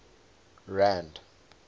rand